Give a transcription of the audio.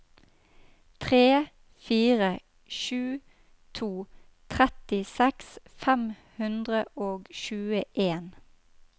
tre fire sju to trettiseks fem hundre og tjueen